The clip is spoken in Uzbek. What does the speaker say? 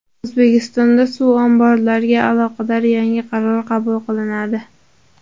O‘zbekistonda suv omborlariga aloqador yangi qaror qabul qilinadi.